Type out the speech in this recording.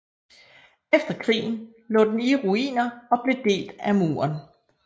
Efter krigen lå den i ruiner og blev delt af muren